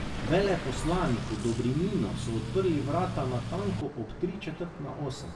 Veleposlaniku Dobrininu so odprli vrata natanko ob tri četrt na osem.